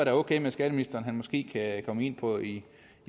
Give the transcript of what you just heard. er okay med skatteministeren at han måske kan komme ind på i